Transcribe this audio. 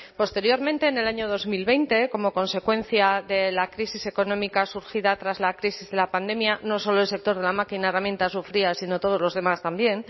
posteriormente en el año dos mil veinte como consecuencia de la crisis económica surgida tras la crisis de la pandemia no solo el sector de la máquina herramienta sufría sino todos los demás también